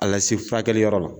Ala se furakɛliyɔrɔ la.